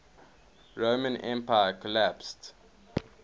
roman empire collapsed